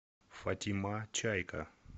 фатима чайка